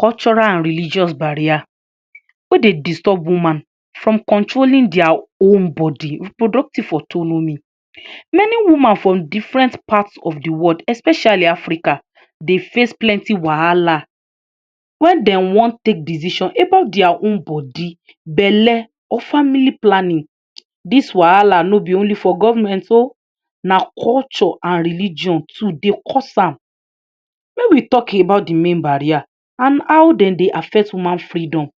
Cultural an religious barrier wey dey disturb woman from controlling dia own bodi—reproductive autonomy. Many woman from different parts of di world, especially Africa, dey face plenti wahala wen den wan take decision about dia own bodi, belle, or family planning. Dis wahala no be only for government oh, na culture an religion too dey cause am. Make we talk about di main barrier an how den dey affect woman freedom.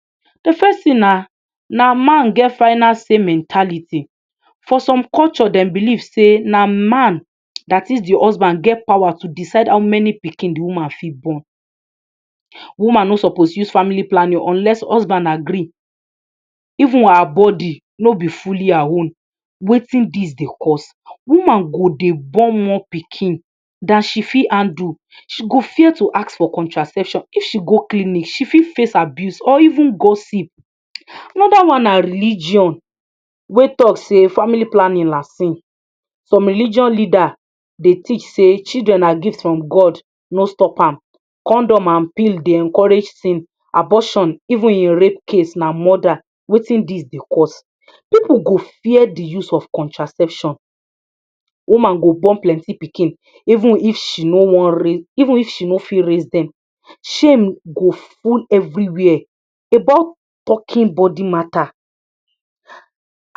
Di first tin na na man get final say mentality: For some culture, dem believe sey na man, dat is di husband, get power to decide how many pikin di woman fit born. Woman no suppose use family planning unless husband agree. Even her bodi no be fully her own. Wetin dis dey cause? Woman go dey born more pikin than she fit handle. She go fear to ask for contraception. If she go clinic, she fit face abuse or even gossip. Another one na religion wey talk sey family planning na sin: Some religion leader dey teach sey children na gift from God, no stop am. Condom, an pill dey encourage sin. Abortion, even in rape case, na murder. Wetin dis dey cause? Pipu go fear di use of contraception. Woman go born plenti pikin even if she no wan raise even if she no fit raise dem. Shame go full everywhere about talking bodi matter.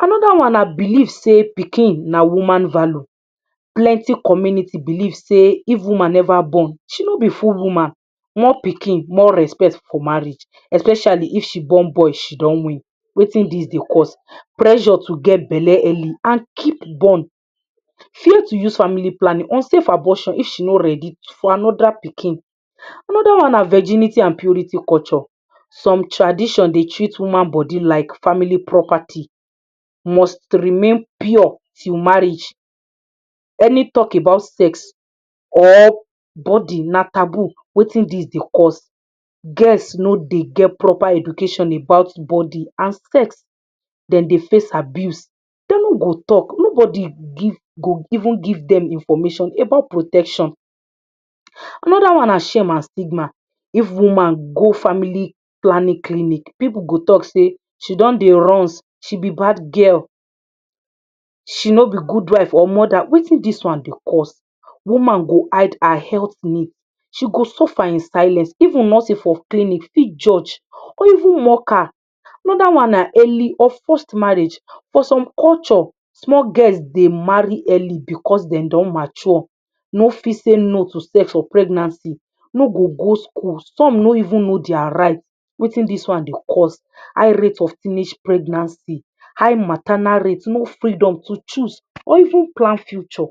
Another one na belief sey pikin na woman value: Plenti community believe sey if woman neva born, she no be full woman. More pikin, more respect for marriage. Especially if she born boy, she don win. Wetin dis dey cause? Pressure to get belle early an keep born, fear to use family planning or safe abortion if she no ready for another pikin. Another one na virginity an purity culture: Some tradition dey treat woman bodi like family property, must remain pure till marriage. Any talk about sex or bodi na taboo. Wetin dis dey cause? Girls no dey get proper education about bodi an sex. Den dey face abuse, de no go talk. Nobodi give go even give dem information about protection. Another one na shame an stigma: If woman go family planning clinic, pipu go talk sey she don dey runz, she be bad girl, she no be good wife, or mother. Wetin dis one dey cause? Woman go hide her health need, she go suffer in silence. Even nurses for clinic fit judge or even mock her. Another one na early or forced marriage: For some culture, small girls dey marry early becos den don mature, no fit say no to sex or pregnancy, no go go school. Some no even know dia right. Wetin dis one dey cause? High rate of teenage pregnancy, high maternal rate, no freedom to choose or even plan future.